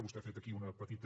vostè ha fet aquí una petita